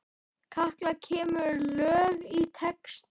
Katla semur lög og texta.